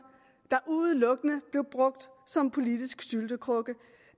der udelukkende blev brugt som politisk syltekrukke